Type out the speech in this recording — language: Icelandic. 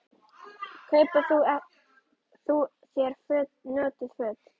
Kaupi þú þér notuð föt?